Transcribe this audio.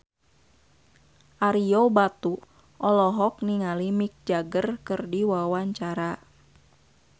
Ario Batu olohok ningali Mick Jagger keur diwawancara